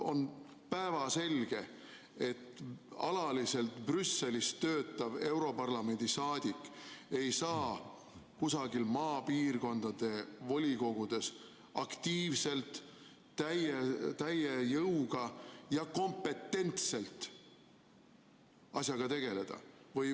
On päevselge, et alaliselt Brüsselis töötav europarlamendi liige ei saa kusagil maapiirkondade volikogudes aktiivselt täie jõuga ja kompetentselt asjaga tegeleda.